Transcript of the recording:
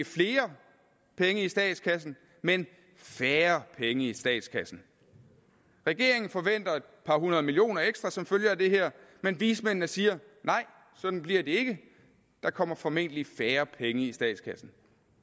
flere penge i statskassen men færre penge i statskassen regeringen forventer et par hundrede millioner kroner ekstra som følge af det her men vismændene siger nej sådan bliver det ikke der kommer formentlig færre penge i statskassen